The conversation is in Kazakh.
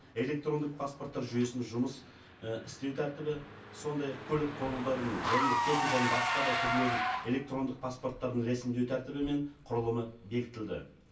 электрондық паспорттар жүйесінің жұмыс і істеу тәртібі сондай ақ көлік құралдарының және техниканың басқа да түрлерін электрондық паспорттарын рәсімдеу тәртібі мен құрылымы бекітілді